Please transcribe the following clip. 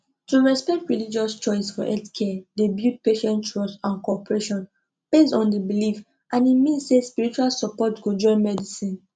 to respect religious choice for healthcare dey build patient trust and cooperation based on the belief and e mean say spiritual support go join medicine